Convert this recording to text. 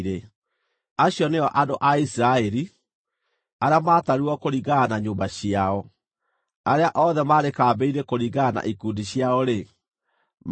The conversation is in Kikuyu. Acio nĩo andũ a Isiraeli, arĩa maatarirwo kũringana na nyũmba ciao. Arĩa othe maarĩ kambĩ-inĩ kũringana na ikundi ciao-rĩ, maarĩ andũ 603,550.